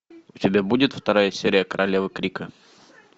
у тебя будет вторая серия королевы крика